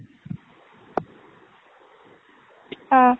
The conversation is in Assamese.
অ।